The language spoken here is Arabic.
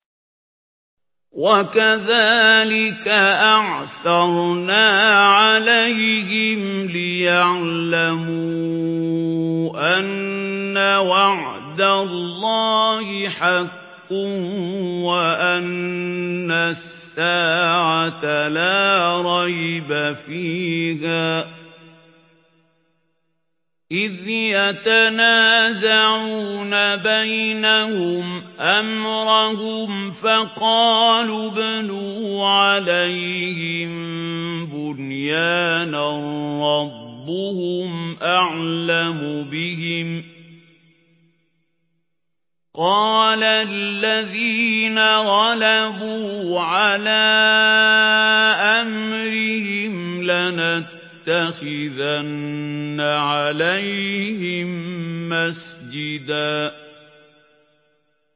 وَكَذَٰلِكَ أَعْثَرْنَا عَلَيْهِمْ لِيَعْلَمُوا أَنَّ وَعْدَ اللَّهِ حَقٌّ وَأَنَّ السَّاعَةَ لَا رَيْبَ فِيهَا إِذْ يَتَنَازَعُونَ بَيْنَهُمْ أَمْرَهُمْ ۖ فَقَالُوا ابْنُوا عَلَيْهِم بُنْيَانًا ۖ رَّبُّهُمْ أَعْلَمُ بِهِمْ ۚ قَالَ الَّذِينَ غَلَبُوا عَلَىٰ أَمْرِهِمْ لَنَتَّخِذَنَّ عَلَيْهِم مَّسْجِدًا